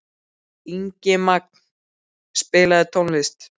Ingimagn, spilaðu tónlist.